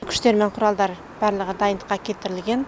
күштер мен құралдар барлығы дайындыққа келтірілген